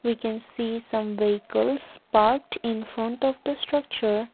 we can see some vehicles parked in front of the structure.